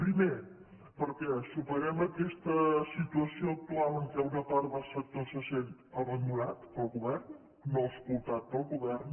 primer perquè superem aquesta situació actual en què una part del sector se sent abandonada pel govern no escoltada pel govern